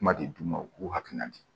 Kuma de d'u ma u k'u hakilina di